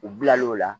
U bila l'o la